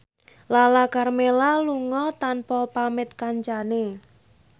Lala Karmela lunga tanpa pamit kancane